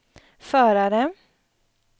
förare